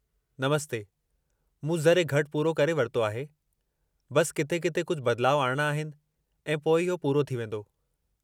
नमस्ते, मूं ज़रे घटि पूरो करे वरितो आहे; बस किथे किथे कुझु बदिलाउ आणिणा आहिनि ऐं पोइ इहो पूरो थी वींदो।